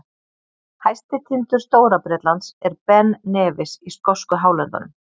Hæsti tindur Stóra-Bretlands er Ben Nevis í skosku hálöndunum.